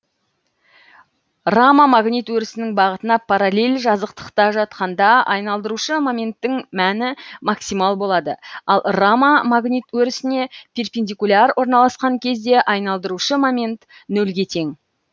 рама магнит өрісінің бағытына параллель жазықтықта жатқанда айналдырушы моменттің мәні максимал болады ал рама магнит өрісіне перпендикуляр орналаскан кезде айналдырушы момент нөлге тең